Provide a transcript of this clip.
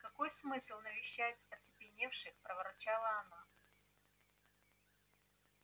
какой смысл навещать оцепеневших проворчала она